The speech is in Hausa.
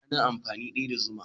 Ana amfani daya da zuma.